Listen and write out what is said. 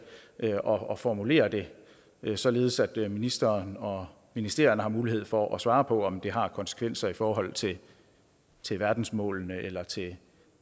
og formulere det således at ministeren og ministerierne har mulighed for at svare på om det har konsekvenser i forhold til til verdensmålene eller til